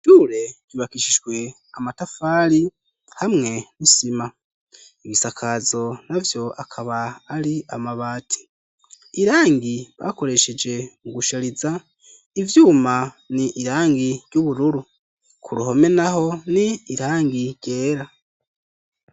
Ishure ryubakishijwe amatafari ,hamwe n'isima, ibisakazo navyo akaba ari amabati ,irangi bakoresheje mu gushariza ivyuma ,ni irangi ry'ubururu ,ku ruhome naho ni irangi ryera.